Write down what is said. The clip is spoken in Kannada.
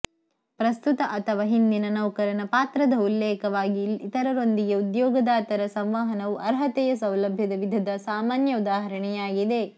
ಪ್ರಸ್ತುತ ಅಥವಾ ಹಿಂದಿನ ನೌಕರನ ಪಾತ್ರದ ಉಲ್ಲೇಖವಾಗಿ ಇತರರೊಂದಿಗೆ ಉದ್ಯೋಗದಾತರ ಸಂವಹನವು ಅರ್ಹತೆಯ ಸೌಲಭ್ಯದ ವಿಧದ ಸಾಮಾನ್ಯ ಉದಾಹರಣೆಯಾಗಿದೆ